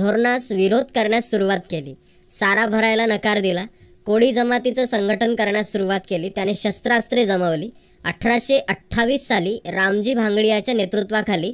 धोरणास विरोध करण्यास सुरुवात केली. सारा भरायला नकार दिला. कोळी जमातीच संघटन करण्यास सुरुवात केली. त्याने शस्त्रास्त्रे जमवली. अठराशे अठ्ठावीस साली रामजी भांगडीयाच्या नेतृत्वाखाली